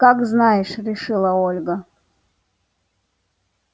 как знаешь решила ольга